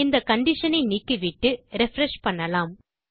இந்த கண்டிஷன் ஐ நீக்கிவிட்டு ரிஃப்ரெஷ் செய்யலாம்